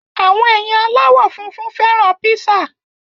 Àwọn èèyàn aláwọ̀ funfun fẹ́ràn píṣà